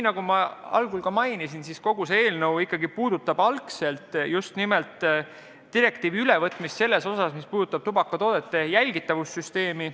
Kogu see eelnõu puudutab eelkõige just nimelt direktiivi nende artiklite ülevõtmist, mis käsitlevad tubakatoodete jälgitavuse süsteemi.